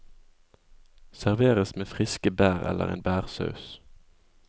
Serveres med friske bær eller en bærsaus.